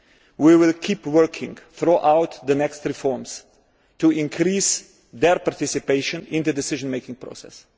We will keep working throughout the next reforms to increase their participation in the decision making process.